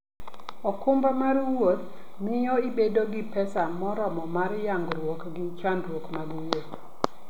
okumba mar wuoth miyo ibedo gi pesa moromo mar nyagruok gi chandruok mag wuoth.